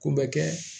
Ko bɛ kɛ